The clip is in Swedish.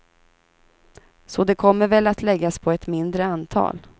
Så det kommer väl att läggas på ett mindre antal.